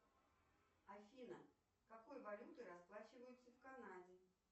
афина какой валютой расплачиваются в канаде